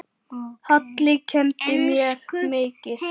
Halli kenndi mér mikið.